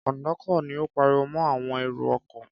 Kọ̀ńdọ́tọ̀ ni ó pariwo mọ́ àwọn èrò-ọkọ̀.